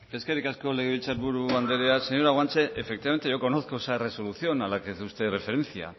eskerrik asko legebiltzar buru andrea señora guanche efectivamente yo conozco esa resolución a la que hace usted referencia